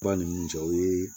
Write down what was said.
Ba ni nun cɛ o ye